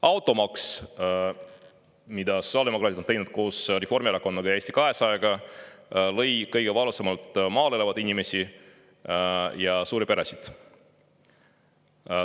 Automaks, mille sotsiaaldemokraadid on teinud koos Reformierakonnaga ja Eesti 200-ga, lõi kõige valusamalt maal elavaid inimesi ja suuri peresid.